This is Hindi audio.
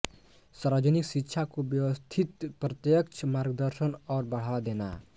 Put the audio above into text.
सार्वजनिक शिक्षा को व्यवस्थित प्रत्यक्ष मार्गदर्शन और बढ़ावा देना